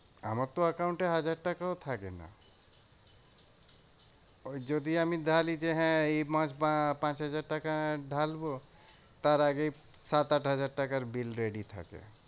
আমার তো account এ হাজার টাকাও থাকে না। যদি আমি ঢালি যে হ্যাঁ এই মাস বা পাঁচ হাজার টাকা ঢালবো তার আগেই সাত আট হাজার টাকার bill ready থাকে।